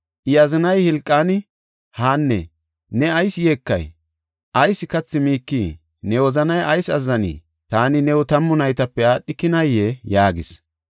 I azinay Hilqaani, “Haanne, ne ayis yeekay? Ayis kathi miikii? Ne wozanay ayis azzanii? Taani new tammu naytape aadhikinayee?” yaagees.